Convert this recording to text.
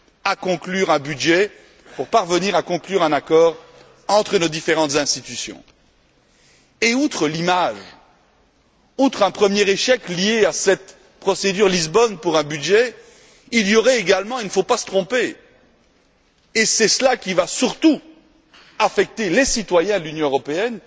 à conclure un budget, pour parvenir à conclure un accord entre nos différentes institutions? Outre l'image, outre un premier échec lié à cette procédure budgétaire basée sur le traité de Lisbonne, il y aurait également il ne faut pas se tromper, et c'est cela qui va surtout affecter les citoyens de l'Union européenne